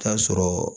Taa sɔrɔ